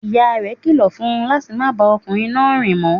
Ìyá rẹ̀ kilọ̀ fun láti má bá ọmọkùnrin náà rìn mọ.